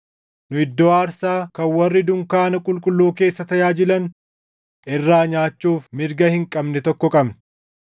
Nu iddoo aarsaa kan warri dunkaana qulqulluu keessa tajaajilan irraa nyaachuuf mirga hin qabne tokko qabna.